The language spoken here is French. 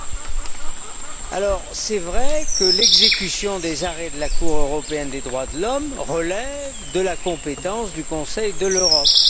Il est vrai que l'exécution des arrêts de la Cour européenne des droits de l'homme relève de la compétence du Conseil de l'Europe.